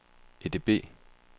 EDB